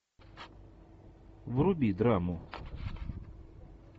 вруби драму